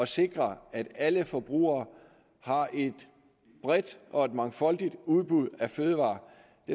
sikre at alle forbrugere har et bredt og mangfoldigt udbud af fødevarer